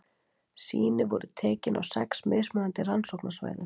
sýni voru tekin á sex mismunandi rannsóknarsvæðum